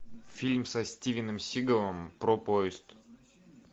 фильм со стивеном сигалом про поезд